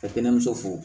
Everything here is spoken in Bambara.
Ka kɛnɛmuso fo